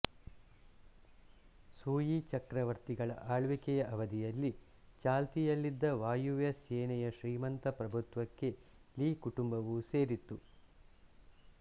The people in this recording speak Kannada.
ಸೂಯಿ ಚಕ್ರವರ್ತಿಗಳ ಆಳ್ವಿಕೆಯ ಅವಧಿಯಲ್ಲಿ ಚಾಲ್ತಿಯಲ್ಲಿದ್ದ ವಾಯವ್ಯ ಸೇನೆಯ ಶ್ರೀಮಂತ ಪ್ರಭುತ್ವಕ್ಕೆ ಲೀ ಕುಟುಂಬವು ಸೇರಿತ್ತು